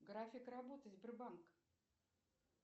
график работы сбербанка